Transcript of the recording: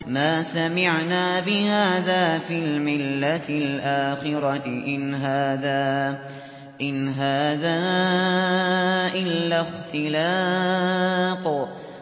مَا سَمِعْنَا بِهَٰذَا فِي الْمِلَّةِ الْآخِرَةِ إِنْ هَٰذَا إِلَّا اخْتِلَاقٌ